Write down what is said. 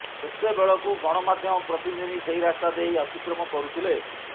ସେତେବେଳକୁ ଗଣମାଧ୍ୟମ ପ୍ରତିନିଧି ସେହି ରାସ୍ତା ଦେଇ ଅତିକ୍ରମ କରୁଥିଲେ